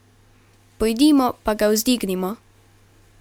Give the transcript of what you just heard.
Pojdimo pa ga vzdignimo!